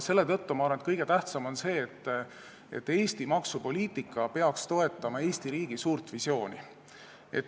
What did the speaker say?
Selle tõttu ma arvan, et kõige tähtsam on see, et Eesti maksupoliitika peaks toetama Eesti riigi suurt visiooni.